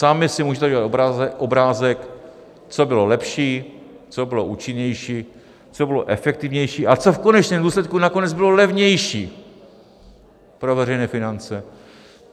Sami si můžete udělat obrázek, co bylo lepší, co bylo účinnější, co bylo efektivnější a co v konečném důsledku nakonec bylo levnější pro veřejné finance.